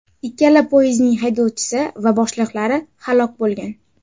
Ikkala poyezdning haydovchisi va boshliqlari halok bo‘lgan.